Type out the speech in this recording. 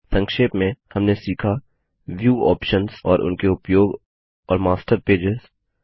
संक्षेप में हमने सीखा व्यू ऑप्शन्स और उनके उपयोग और मास्टर पेजेस